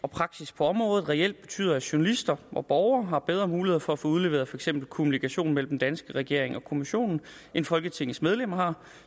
og praksis på området reelt betyder at journalister og borgere har bedre muligheder for at få udleveret for eksempel kommunikation mellem den danske regering og kommissionen end folketingets medlemmer har